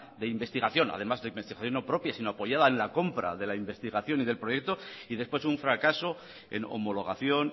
de investigación además de investigación no propia sino apoyada en la compra de la investigación y del proyecto y después un fracaso en homologación